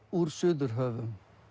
úr Suðurhöfum